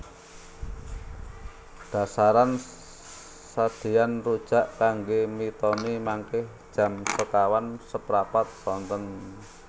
Dasaran sadean rujak kangge mitoni mangke jam sekawan seprapat sonten